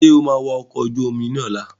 Sọ ma wa ọkọ̀ ojú omi lọ́la?